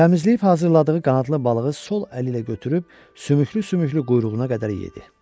Təmizləyib hazırladığı qanadlı balığı sol əli ilə götürüb sümüklü-sümüklü quyruğuna qədər yedi.